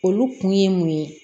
Olu kun ye mun ye